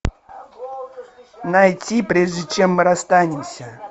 найти прежде чем мы расстанемся